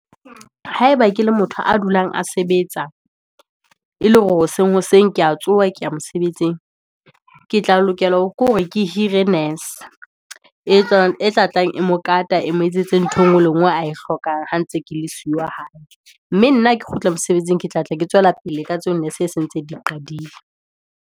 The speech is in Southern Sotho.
Haeba ke le motho a dulang a sebetsa, e le hore hoseng ke ya tsoha, ke ya mosebetsing, ke tla lokela hore ke hore ke hire nese, e tla tlang e mo kata, e mo etsetse ntho engwe le e ngwe, a e hlokang ha ntse ke le siyo hae. Mme nna ha ke kgutla mosebetsing, ke tla tla ke tswela pele, ka tseo nese e se ntse e di qadile.